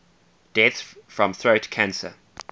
deaths from throat cancer